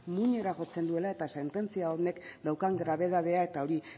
muinera jotzen duela eta sententzia honek daukan grabedadea eta hori